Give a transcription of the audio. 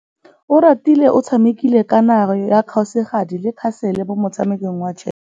Oratile o tshamekile kananyô ya kgosigadi le khasêlê mo motshamekong wa chess.